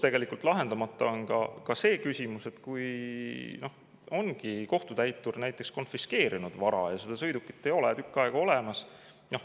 Tegelikult on lahendamata ka see küsimus, et mis saab siis, kui ongi kohtutäitur näiteks konfiskeerinud vara ja seda sõidukit ei ole enam tükk aega olemas.